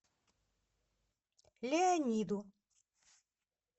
леониду